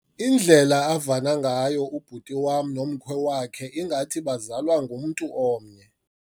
Indlela avana ngayo ubhuti wam nomkhwe wakhe ngathi bazalwa ngumntu omnye.